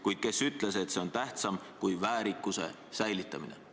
Kuid kes ütles, et see on tähtsam kui väärikuse säilitamine?